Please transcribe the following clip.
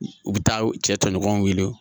U bi taa cɛ tɔɲɔgɔnw weele